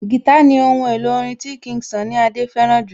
Guitar ní ohun èlò orin tí King Sunny Adé fẹ́ràn jù